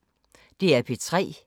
DR P3